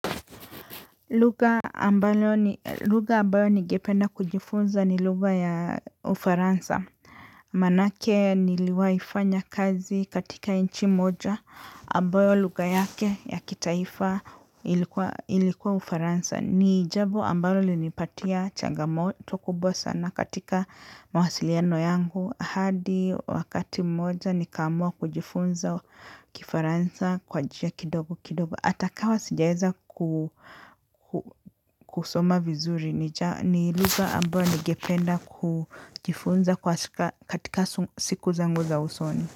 Lugha ambayo ningependa kujifunza ni lugha ya ufaransa. Manake niliwahi fanya kazi katika nchi moja ambayo lugha yake ya kitaifa ilikuwa ufaransa. Ni jambo ambalo lilinipatia changamoto kubwa sana katika mawasiliano yangu. Hadi wakati mmoja nikaamua kujifunza kifaransa kwa njia kidogo kidogo. Ata kawa sijaeza kusoma vizuri ni lugha ambayo ningependa kujifunza katika siku zangu za usoni.